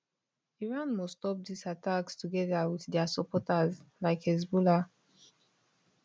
iran must stop diz attacks togeda wit dia supporters like hezbollah